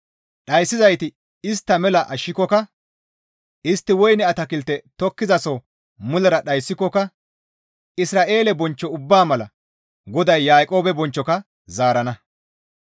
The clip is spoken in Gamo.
Dhayssizayti istta mela ashshikokka, istti woyne atakilte tokkizasoho mulera dhayssikoka Isra7eele bonchcho ubbaa mala GODAY Yaaqoobe bonchchoka zaarana.